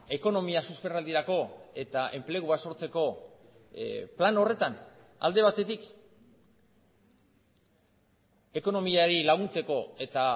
ekonomia susperraldirako eta enplegua sortzeko plan horretan alde batetik ekonomiari laguntzeko eta